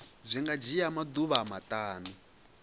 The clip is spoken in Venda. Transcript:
zwi nga dzhia maḓuvha maṱanu